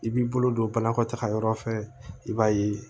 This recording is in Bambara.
I b'i bolo don banakɔ taga yɔrɔ fɛ i b'a ye